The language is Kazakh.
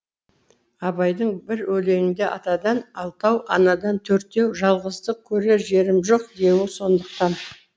абайдың бір өлеңінде атадан алтау анадан төртеу жалғыздық көрер жерім жоқ деуі сондықтан